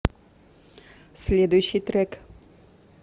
следующий трек